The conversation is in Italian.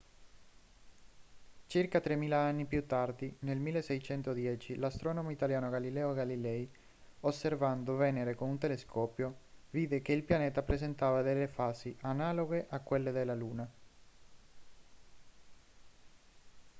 circa tremila anni più tardi nel 1610 l'astronomo italiano galileo galilei osservando venere con un telescopio vide che il pianeta presentava delle fasi analoghe a quelle della luna